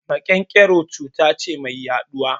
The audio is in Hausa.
Maƙen-ƙero cuta ce mai yaɗuwa